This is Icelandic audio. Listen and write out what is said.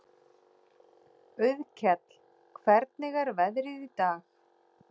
Auðkell, hvernig er veðrið í dag?